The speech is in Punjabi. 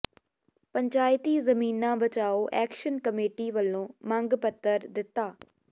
ਪੰਚਾਇਤੀ ਜ਼ਮੀਨਾਂ ਬਚਾਓ ਐਕਸ਼ਨ ਕਮੇਟੀ ਵੱਲੋਂ ਮੰਗ ਪੱਤਰ ਦਿੱਤਾ